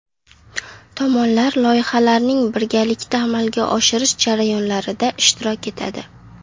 Tomonlar loyihalarning birgalikda amalga oshirish jarayonlarida ishtirok etadi.